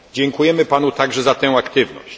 Dziękujemy Panu także za tę aktywność!